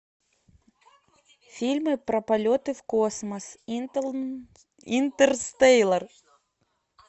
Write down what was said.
фильмы про полеты в космос интерстеллар